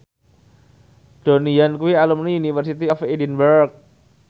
Donnie Yan kuwi alumni University of Edinburgh